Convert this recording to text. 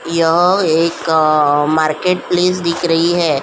यह एक market place दिख रही है।